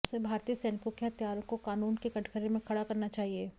उसे भारतीय सैनिकों के हत्यारों को क़ानून के कटघरे में खड़ा करना चाहिए